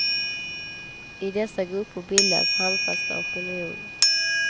I dessa grupper bildades handfasta opinioner.